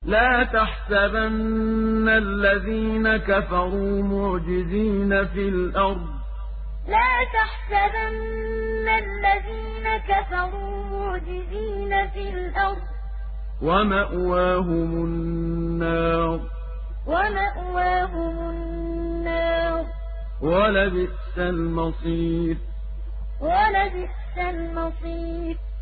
لَا تَحْسَبَنَّ الَّذِينَ كَفَرُوا مُعْجِزِينَ فِي الْأَرْضِ ۚ وَمَأْوَاهُمُ النَّارُ ۖ وَلَبِئْسَ الْمَصِيرُ لَا تَحْسَبَنَّ الَّذِينَ كَفَرُوا مُعْجِزِينَ فِي الْأَرْضِ ۚ وَمَأْوَاهُمُ النَّارُ ۖ وَلَبِئْسَ الْمَصِيرُ